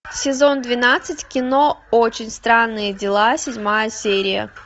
сезон двенадцать кино очень странные дела седьмая серия